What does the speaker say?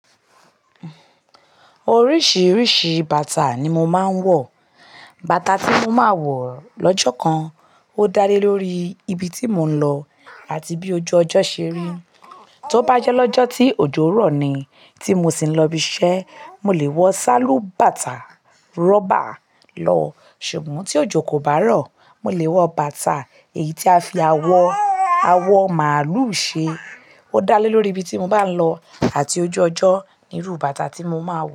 Oríṣìíríṣìí bàtà ni mo máa ń wọ̀. Bàtà tí mo máa wọ̀ lọ́jọ́ kan ó dá lé lórí ibi tí mò ń lọ àti bí ojú ọjọ́ ṣe rí. Tó bá jẹ́ lọ́jọ́ tí òjò rọ̀ ni tí mo sì ń lọ ibi iṣẹ́, mo lè wọ sálú bàtà rọ́bà lọ. Ṣùgbọ́n tí òjò kò bá rọ̀, mo lè wọ bàtà èyí tí a fi awọ awọ màlúù ṣe. Ó dá lé lórí ibi tí mo bá ń lọ àti ojú ọjọ́ irú bàtà tí mo máa wọ̀